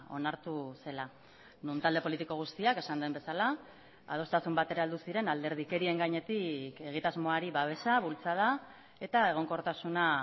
onartu zela non talde politiko guztiak esan den bezala adostasun batera heldu ziren alderdikerien gainetik egitasmoari babesa bultzada eta egonkortasuna